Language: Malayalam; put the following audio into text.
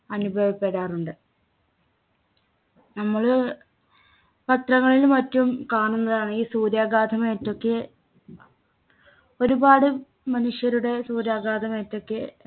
അനുഭവപ്പെടാറുണ്ട് നമ്മള് പത്രങ്ങളിലും മറ്റും കാണുന്നതാണ് ഈ സൂര്യാഘാതം ഏറ്റൊക്കെ ഒരുപാട് മനുഷ്യരുടെ സൂര്യാഘാതം ഏറ്റൊക്കെ